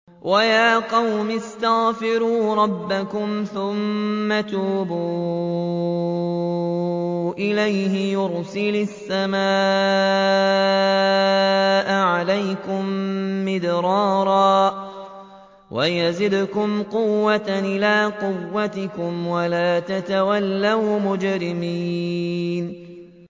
وَيَا قَوْمِ اسْتَغْفِرُوا رَبَّكُمْ ثُمَّ تُوبُوا إِلَيْهِ يُرْسِلِ السَّمَاءَ عَلَيْكُم مِّدْرَارًا وَيَزِدْكُمْ قُوَّةً إِلَىٰ قُوَّتِكُمْ وَلَا تَتَوَلَّوْا مُجْرِمِينَ